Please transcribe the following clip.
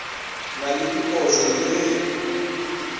na le diphošo le ge